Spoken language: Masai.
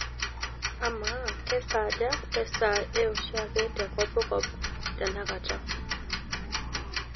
amaa kesaaja te saa ee oshiake te kopkop tenakata